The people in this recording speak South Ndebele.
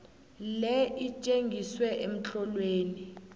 le itjengiswe emtlolweni